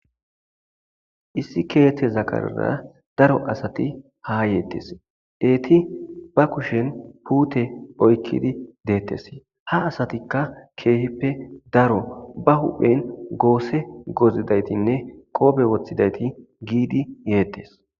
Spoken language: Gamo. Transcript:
issi keteza karera daro asati ha yetes eti ba kushen pute oykidi detes ha asatika kehippe daro ba huphen goose gozidaytinne qoobe wothidayti gidi yetes.